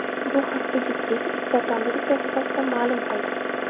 Bu haqda juftlik Instagram’dagi sahifasida ma’lum qildi.